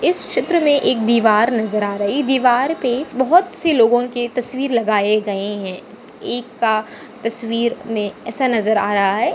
इस चित्र मे एक दीवार नज़र आ रही। दीवार पे बहुत सी लोगोकि तस्वीर लगाए गए है। एक का तस्वीर में ऐसा नज़र आ रहा है।